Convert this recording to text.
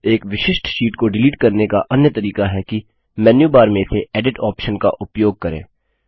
एक विशिष्ट शीट को डिलीट करने का अन्य तरीका है कि मेन्यूबार में से एडिट ऑप्शन का उपयोग करें